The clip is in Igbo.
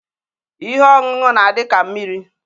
Ihe oṅụnụ n'adi ka mmiri.